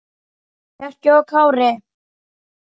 Bjarki og Kári.